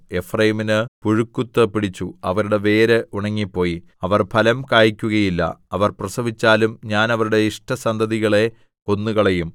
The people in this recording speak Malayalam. എഫ്രയീമിന് പുഴുക്കുത്തു പിടിച്ചു അവരുടെ വേര് ഉണങ്ങിപ്പോയി അവർ ഫലം കായിക്കുകയില്ല അവർ പ്രസവിച്ചാലും ഞാൻ അവരുടെ ഇഷ്ടസന്തതികളെ കൊന്നുകളയും